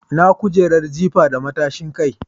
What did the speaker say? Ina kujerar jifa da matashin kai?